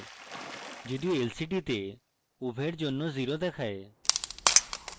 যদিও lcd তে উভয়ের জন্য 0 দেখায়